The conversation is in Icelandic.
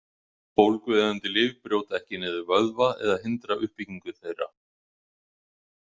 Bólgueyðandi lyf brjóta ekki niður vöðva eða hindra uppbyggingu þeirra.